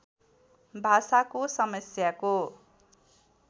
भाषाको समस्याको